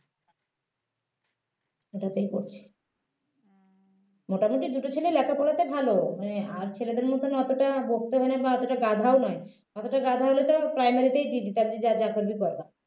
ওটাতেই পড়ছে মোটামুটি দুটো ছেলে লেখাপড়াতে ভালো মানে আর ছেলেদের মতো অতটা বকতে হয় না বা অতটা গাধাও নয় যতটা গাধা হলে তো primary তেই দিয়ে দিতাম যে যার যা করবি কর গা